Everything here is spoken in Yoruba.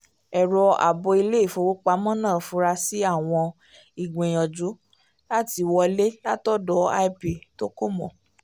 ẹ̀rọ àbò ilé-ìfowópamọ́ náà fura sí àwọn ìgbìyànjú láti wọlé látọ̀dọ̀ ip tó kò mọ̀